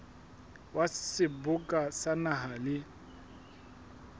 wa seboka sa naha le